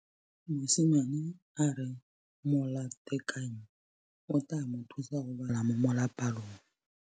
Mosimane a re molatekanyô o tla mo thusa go bala mo molapalong.